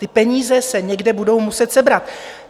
Ty peníze se někde budou muset sebrat.